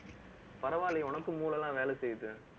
பரவாயில்லையே, உனக்கும் மூளை எல்லாம் வேலை செய்யுது